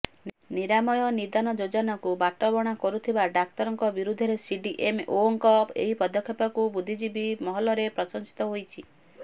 ନିରାମୟ ନିଦାନ ଯୋଜନାକୁ ବାଟବଣା କରୁଥିବା ଡାକ୍ତରଙ୍କ ବିରୁଦ୍ଧରେ ସିଡିଏମଓଙ୍କ ଏହି ପଦକ୍ଷେପକୁ ବୁଦ୍ଧିଜୀବୀ ମହଲରେ ପ୍ରଶଂସିତ ହୋଇଛି